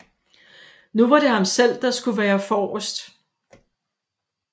Nu var det ham selv der skulle være forrest